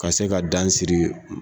Ka se ka dan siri